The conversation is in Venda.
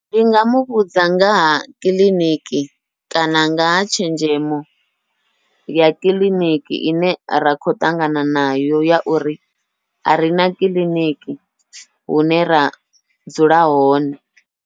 Ndi nga muvhudza nga ha kiḽiniki kana nga ha tshenzhemo ya kiḽiniki ine ra khou ṱangana nayo, ya uri a rina kiḽiniki hune ra dzula hone.